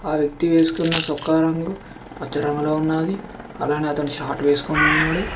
ఆ వ్యక్తి వేసుకున్న చొక్కా రంగు పచ్చరంగులో ఉన్నది అలానే అతని షాట్ వేసుకుని ఉన్నాడు.